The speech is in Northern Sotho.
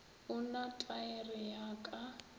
o na taere ya ka